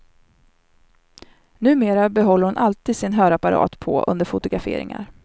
Numera behåller hon alltid sin hörapparat på under fotograferingar.